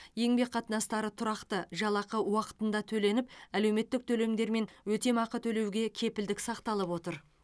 еңбек қатынастары тұрақты жалақы уақытында төленіп әлеуметтік төлемдер мен өтемақы төлеуге кепілдік сақталып отыр